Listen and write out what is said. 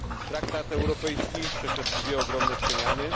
Traktat europejski przeszedł dwie ogromne przemiany.